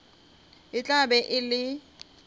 e tla be e le